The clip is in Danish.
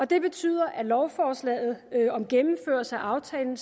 det betyder at lovforslaget om gennemførelse af aftalen